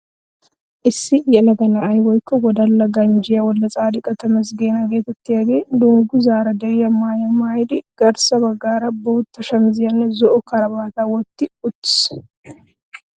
Issi yelaga na'ay woykko wodala ganjjiya Wolddetsaadiqa Tamazggana geetettiyagee dungguzzaara de'iya maayuwa maayidi garssa baggaara bootta shamiziyanne zo"o karabaataa wotti uttiis.